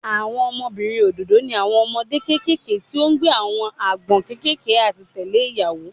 Awọn ọmọbirin ododo ni awọn ọmọde kekere ti o gbe awọn agbọn kekere ati tẹle iyawo